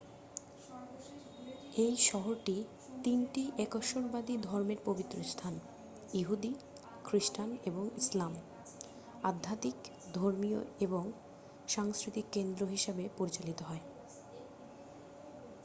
এই শহরটি তিনটি একেশ্বরবাদী ধর্মের পবিত্রস্থান ইহুদি খ্রিস্টান এবং ইসলাম আধ্যাত্মিক ধর্মীয় এবং সাংস্কৃতিক কেন্দ্র হিসাবে পরিচালিত হয়